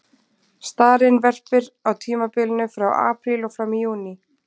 Starinn verpir á tímabilinu frá apríl og fram í júní.